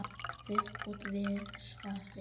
Viðbót við svarið